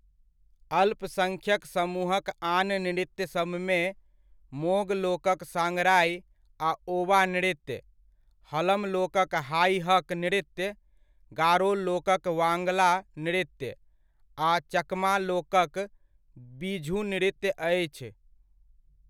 अल्पसङ्ख्यक समूहक आन नृत्य सबमे, मोग लोकक साँगराइ आ ओवा नृत्य, हलम लोकक हाइ हक नृत्य, गारो लोकक वांगला नृत्य आ चकमा लोकक बिझु नृत्य अछि।